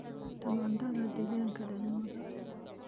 Tamaandhada deegaanka dhalmada.